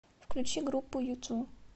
включи группу юту